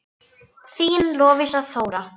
Þín Lovísa Þóra.